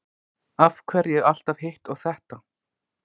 Af hverju alltaf hitt og þetta?